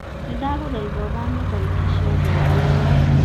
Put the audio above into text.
ni ndagũthaitha ũthamie tarĩki ciothe ũndũ-inĩ